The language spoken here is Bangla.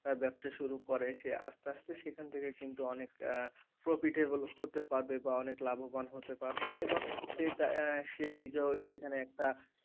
ব্যবসা শুরু করে সে আস্তে আস্তে সেখান থেকে কিন্তু অনেক profitable হতে পারবে বা অনেক লাভবান হতে পারে সে নিজেও সেখানে একটা,